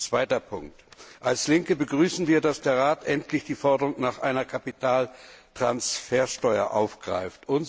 Zweiter Punkt Als Linke begrüßen wird, dass der Rat endlich die Forderung nach einer Kapitaltransfersteuer aufgreift.